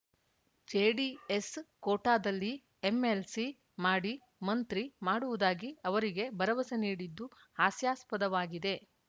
JDS ಖೋಟಾದಲ್ಲಿ MLC ಮಾಡಿ ಮಂತ್ರಿ ಮಾಡುವುದಾಗಿ ಅವರಿಗೆ ಭರವಸೆ ನೀಡಿದ್ದು ಹಾಸ್ಯಾಸ್ಪದವಾಗಿದೆ